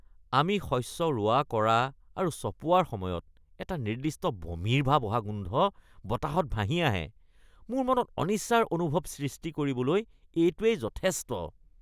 আমি শস্য ৰোৱা কৰা আৰু চপোৱাৰ সময়ত এক নিৰ্দিষ্ট বমিৰ ভাব অহা গোন্ধ বতাহত ভাহি আহে, মোৰ মনত অনিচ্ছাৰ অনুভৱ সৃষ্টি কৰিবলৈ এইটোৱে যথেষ্ট।